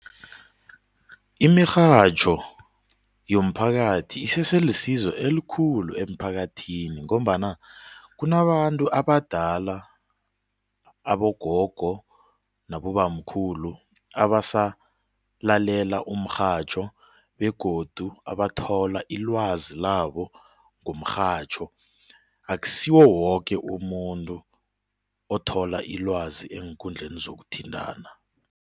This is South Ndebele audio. Imirhatjho yomphakathi isese lisizo elikhulu emphakathini ngombana kunabantu abadala abogogo nabobamkhulu abasalalela umrhatjho begodu abathola ilwazi labo ngomrhatjho akusiwo woke umuntu othola ilwazi eenkundleni zokuthintana.